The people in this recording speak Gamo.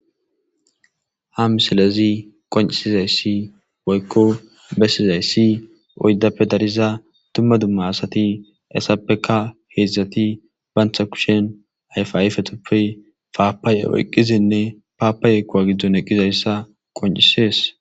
Ha misilezi qoncisizayssi woykko bessizayssi oydappe dariza tumma dumma asati essappeka heedzdzati bantha kushen ayfaifetoppe paapaye oyqqizinne paapaye kuwa giddon eqqizayssa qoncisees.